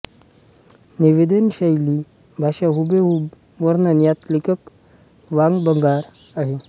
निवेदनशैली भाषा हुबेहूब वर्णन यात लेखक वाकबगार आहे